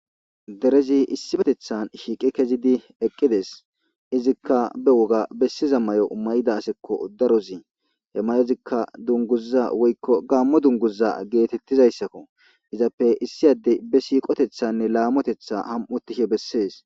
Derez issipetethan shiq kezid equdes. Izika be dere woga besiza moyo mayida aseko daroz. He mayozika dunguza woyko Gamo dunguza getetizaysako. Izappe Adey be siqotethane lamotetha ham'otishe beses.